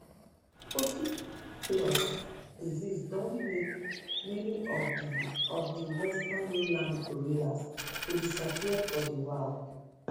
poaching plus disease don make many of di di western lowland gorillas to disappear for di wild